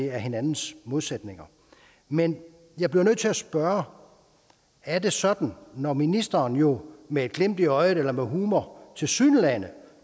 er hinandens modsætninger men jeg bliver nødt til at spørge er det sådan når ministeren jo med et glimt i øjet eller med humor tilsyneladende